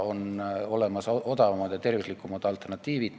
On olemas odavamad ja tervislikumad alternatiivid.